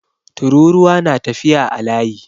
Tururuwa na tafiya a layi